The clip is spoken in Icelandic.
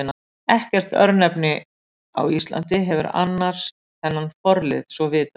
Ekkert örnefni á Íslandi hefur annars þennan forlið svo vitað sé.